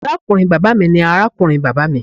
Arakunrin baba mi ni arakunrin baba mi.